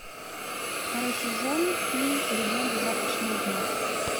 второй сезон фильм легенды завтрашнего дня